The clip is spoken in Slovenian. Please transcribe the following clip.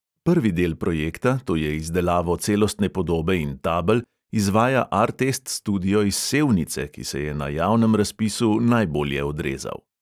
Prvi del projekta, to je izdelavo celostne podobe in tabel, izvaja artest studio iz sevnice, ki se je na javnem razpisu najbolje odrezal.